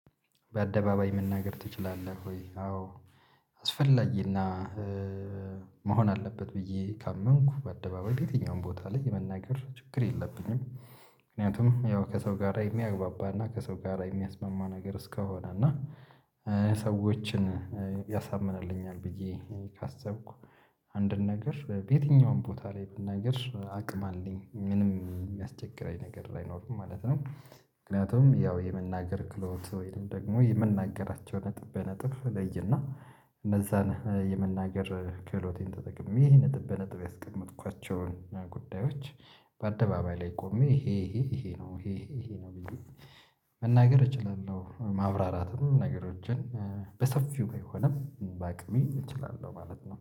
በአደባባይ መናገር ትችላለህ ወይ? አዎ አስፈላጊና መሆን አለበት ብዬ ካመንኩ በአደባባይ በየትኛውም ቦታ ላይ የመናገር ችግር የለብኝም። ምክንያቱም ያው ከሰው ጋራ የሚያግባባና ከሰው ጋር የሚያስማማ ነገር እስከሆነ እና ሰዎችን ያሳምንልኛል ብዬ ካሰብኩ አንድን ነገር በየትኛውም ቦታ ላይ ብናገር አቅም አለኝ ምንም የሚያስቸግረኝ ነገር አይኖርም ማለት ነው። ምክንያቱም ያው የመናገር ክህሎት ወይም ደግሞ የምናገራቸው ነጥብ በነጥብ ለይና እነዛን የመናገር ክህሎቴን ተጠቅሜ ይሄ ነጥብ በነጥብ ያስቀመጥኳቸውን ጉዳዮች በአደባባይ ላይ ቆሜ ይሄ ይሄ ይሄ ነው ይሄ ይሄ ነው ብዬ መናገር እችላለሁ። ማብራራትም ነገሮችን በሰፊው ቢሆንም በአቅሜ እችላለሁ ማለት ነው